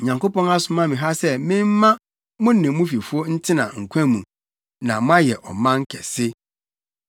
Onyankopɔn asoma me ha sɛ memma mo ne mo fifo ntena nkwa mu, na moayɛ ɔman kɛse.